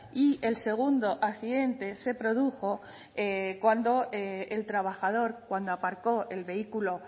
y el segundo accidente se produjo cuando el trabajador cuando aparco el vehículo